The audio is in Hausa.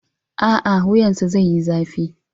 A'a, wuyansa zai yi zafi.